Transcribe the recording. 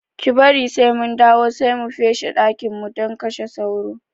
Ki bari sai mun dawo sai mu feshe dakin don mu kashe sauron